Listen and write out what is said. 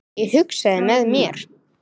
Ég hugsaði með mér